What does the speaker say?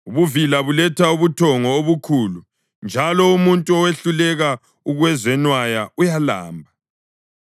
Ubuvila buletha ubuthongo obukhulu, njalo umuntu owehluleka ukuzenwaya uyalamba.